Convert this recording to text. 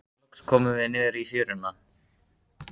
Loks komum við niður í fjöruna.